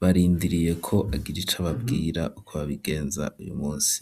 barindiriye ko agiri ico ababwira uko babigenza uyu musi.